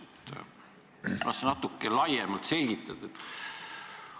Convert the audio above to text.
Kas sa selgitaksid seda natuke laiemalt?